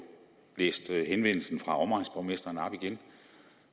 læst henvendelsen fra omegnsborgmestrene op igen